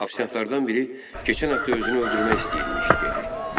Ofisiantlardan biri keçən həftə özünü öldürmək istəyirmiş dedi.